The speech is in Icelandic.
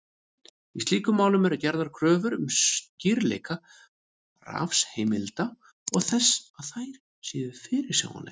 Í slíkum málum eru gerðar kröfur um skýrleika refsiheimilda og þess að þær séu fyrirsjáanlegar.